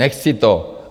Nechci to!